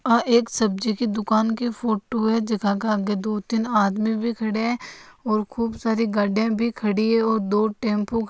यह एक सब्जी की दुकान है की फोटो है जहा की दो तीन आदमी भी खड़े है और खूब सारी गाड़िया भी खड़ी है और दो टेम्पो --